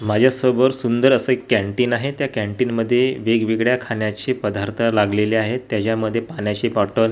माझ्या समोर सुंदर अस एक कॅन्टीन आहे त्या कॅन्टीन मध्ये वेगवेगळ्या खाण्याचे पदार्थ लागलेले आहेत त्याच्यामध्ये पाण्याची बॉटल